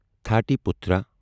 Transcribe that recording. تھاٹی پُترا